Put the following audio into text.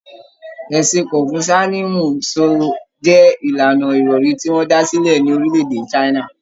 Ẹ̀sìn Kọnfuṣiánisìmù so jẹ ìlànà ìròrí tí wọn dá sílẹ̀ ní orílẹ̀-èdè China